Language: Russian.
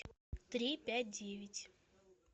три пять девять